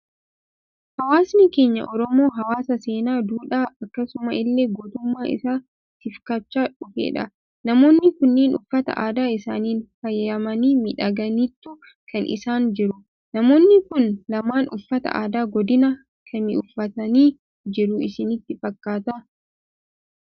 Hawaasni keenya Oromoo, hawaasa seenaa, duudhaa akkasuma illee gootummaa isaa tifkachaa dhufedha. Namoonni kunneen uffata aadaa isaaniin faayamanii, miidhaganiitu kan isaan jiran. Namoonni Kun lamaan uffata aadaa godina kamii uuffatanii jiru isinitti fakkaata?